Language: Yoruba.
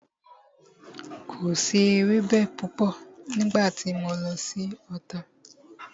Kò si ewẹ́bẹ púpọ̀ nígbà tí mo lọ sí Ota